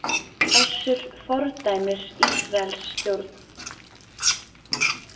Össur fordæmir Ísraelsstjórn